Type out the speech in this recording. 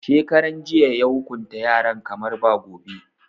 Shekaran jiya ya hukunta yaran kamar ba gobe.